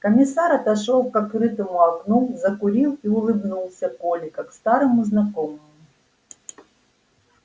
комиссар отошёл к открытому окну закурил и улыбнулся коле как старому знакомому